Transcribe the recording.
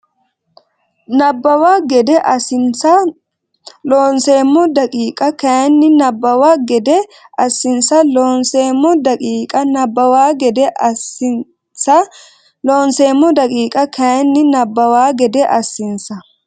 Nabbawa gede assinsa Loonseemmo daqiiqa kayinni Nabbawa gede assinsa Loonseemmo daqiiqa Nabbawa gede assinsa Loonseemmo daqiiqa kayinni Nabbawa gede assinsa.